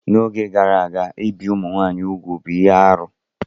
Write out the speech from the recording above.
N'oge gara aga, ibi ụmụ nwanyị úgwù bụ ihe arụ.